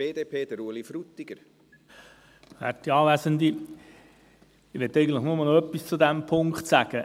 Ich möchte nur noch etwas zu diesem Punkt sagen: